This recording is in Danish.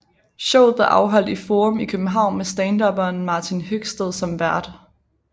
Showet blev afholdt i Forum i København med standupperen Martin Høgsted som vært